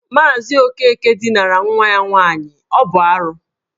Maazị Okeke dinara nwa ya nwaanyị, ọ bụ arụ.